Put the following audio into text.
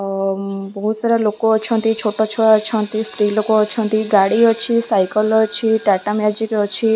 ଓ ବୋହୁତ ସାରା ଲୋକ ଅଛନ୍ତି ଛୋଟ ଛୁଆ ଅଛନ୍ତି ସ୍ତ୍ରୀଲୋକ ଅଛନ୍ତି ଗାଡ଼ି ଅଛି ସାଇକଲ୍ ଅଛି ଟାଟା ମ୍ୟାଜିକ୍ ଅଛି।